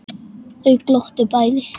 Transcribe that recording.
Þau glottu bæði.